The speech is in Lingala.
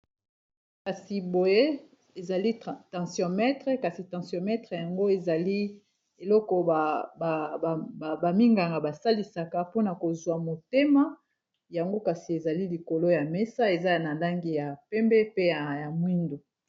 Kasi boye ezali tensiometre kasi tensiometre yango ezali eloko ba minganga basalisaka mpona kozwa motema yango kasi ezali likolo ya mesa eza na langi ya pembe pe ya mwindo.